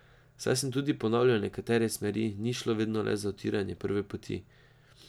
Saj sem tudi ponavljal nekatere smeri, ni šlo vedno le za utiranje prve poti.